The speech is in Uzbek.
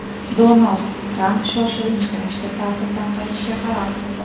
Donald Tramp shoshilinch ravishda ta’tildan qaytishga qaror qildi.